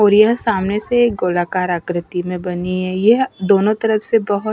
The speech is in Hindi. और यह सामने से एक गोलाकार आकृति में बनी है यह दोनों तरफ से बहुत--